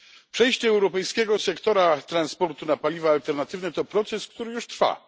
Przejście europejskiego sektora transportu na paliwa alternatywne to proces, który już trwa.